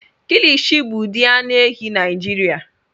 Kilishi bụ ụdị anụ ehi Naijiria.